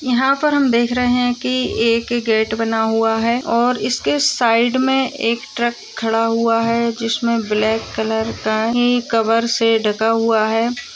यहाँ पर हम देख रहे है कि एक गेट बना हुआ है और इसके साइड में एक ट्रक खड़ा हुआ है जिसमें ब्लैक कलर का ही कवर से ढ़का हुआ है।